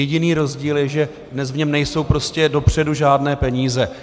Jediný rozdíl je, že dnes v něm nejsou prostě dopředu žádné peníze.